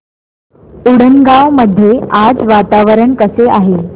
उंडणगांव मध्ये आज वातावरण कसे आहे